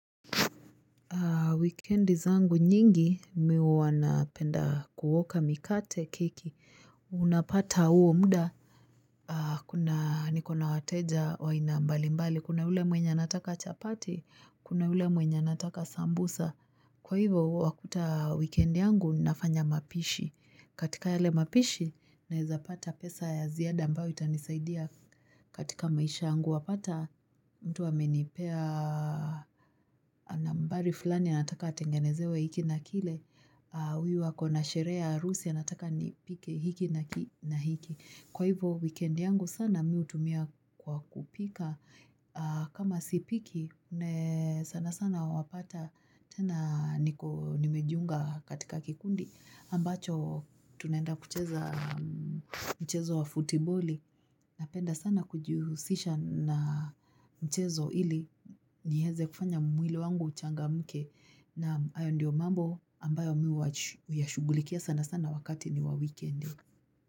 Wikendi zangu nyingi mimi huwa napenda kuoka mikate keki. Unapata huo muda. Kuna niko na wateja wa aina mbali mbali. Kuna yule mwenye anataka chapati. Kuna ule mwenye nataka sambusa. Kwa hivyo wakuta wikendi yangu nafanya mapishi. Katika yale mapishi naweza pata pesa ya ziada ambayo itanisaidia. Katika maisha yangu wapata mtu amenipea nambari fulani. Na anataka atengenezewe hiki na kile, huyu wako na sherehe ya harusi anataka nipike hiki na na hiki, kwa hivyo wikendi yangu sana mimi hutumia kwa kupika kama sipiki sana sana wapata tena niko nimejiunga katika kikundi ambacho tunaenda kucheza mchezo wa futiboli napenda sana kujihusisha na mchezo ili niweze kufanya mwili wangu uchangamke na hayo ndiyo mambo ambayo mimi huwa huyashughulikia sana sana wakati ni wa wikendi.